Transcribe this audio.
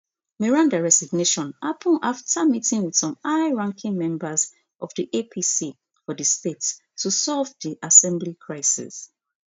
meranda resignation happun afta meeting wit some highranking members of di apc for di state to solve di assembly crisis